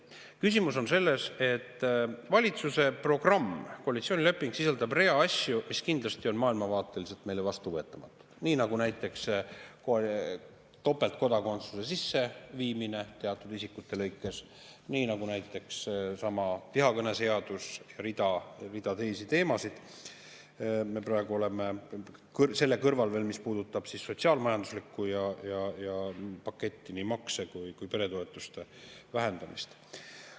Küsimus on sellest, et valitsuse programm ehk koalitsioonileping sisaldab rea asju, mis on meile kindlasti maailmavaateliselt vastuvõetamatud, nii nagu näiteks topeltkodakondsuse sisseviimine teatud isikute lõikes, nii nagu näiteks seesama vihakõneseadus ja rida teisi teemasid – selle kõrval veel, mis puudutab sotsiaal-majanduslikku paketti, nii makse kui ka peretoetuste vähendamist.